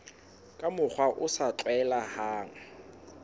ka mokgwa o sa tlwaelehang